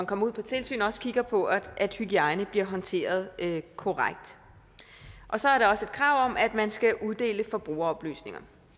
kommer på tilsyn også kigger på at hygiejne bliver håndteret korrekt så er der også et krav om at man skal uddele forbrugeroplysninger